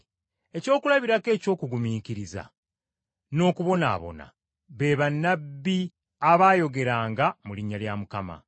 Ekyokulabirako eky’okugumiikiriza n’okubonaabona, be bannabbi abaayogeranga mu linnya lya Mukama.